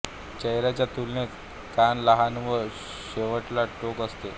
चेहऱ्याच्या तुलनेत कान लहान व शेवटला टोक असते